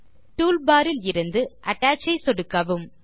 toolbar இலிருந்து attach ஐ சொடுக்கவும்